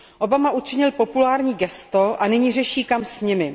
Obama učinil populární gesto a nyní řeší, kam s nimi.